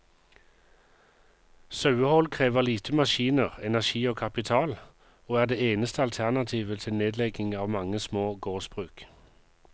Sauehold krever lite maskiner, energi og kapital, og er det eneste alternativet til nedlegging av mange små gårdsbruk.